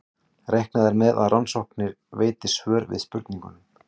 Reiknað er með að rannsóknir veiti svör við spurningum.